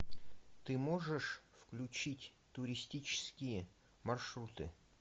ты можешь включить туристические маршруты